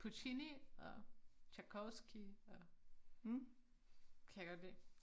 Puccini og Tjajkovskij og kan jeg godt lide